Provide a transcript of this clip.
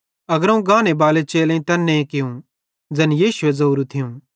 अग्रोवं गानेबाले चेलेईं तैन्ने कियूं ज़ैन यीशुए ज़ोरू थियूं